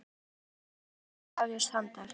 Sest og þvinga mig til að hefjast handa.